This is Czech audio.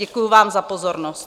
Děkuji vám za pozornost.